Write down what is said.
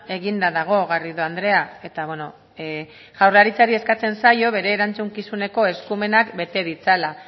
eginda dago garrido andrea eta beno jaurlaritzari eskatzen zaio bere erantzukizuneko eskumenak bete ditzala